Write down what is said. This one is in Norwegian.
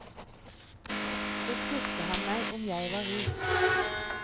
Så spurte han meg om jeg var rik.